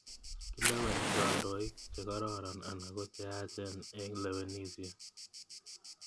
Kileweni kandoik che kororon anan ko cheyachen eng' lewenisyet.